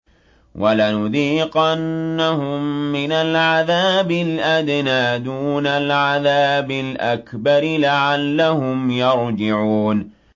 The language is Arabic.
وَلَنُذِيقَنَّهُم مِّنَ الْعَذَابِ الْأَدْنَىٰ دُونَ الْعَذَابِ الْأَكْبَرِ لَعَلَّهُمْ يَرْجِعُونَ